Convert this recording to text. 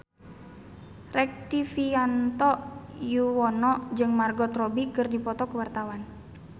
Rektivianto Yoewono jeung Margot Robbie keur dipoto ku wartawan